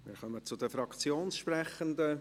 Wir kommen zu den Fraktionssprechenden.